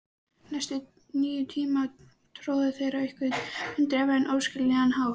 Næstu níu tímana tórðu þeir á einhvern undraverðan, óskiljanlegan hátt.